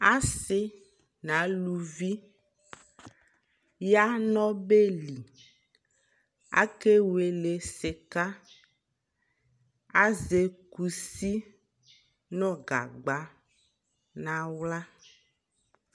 asii nʋ alʋvi yanʋ ɔbɛli, akɛ wɛlɛ sika, azɛ kʋsi nʋ gagba nʋ ala